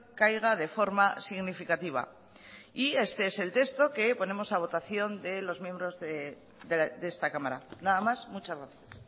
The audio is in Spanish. caiga de forma significativa y este es el texto que ponemos a votación de los miembros de esta cámara nada más muchas gracias